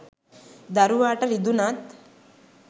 දරුවාට රිදුනත්,